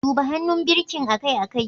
Duba hannun birkin akai-akai.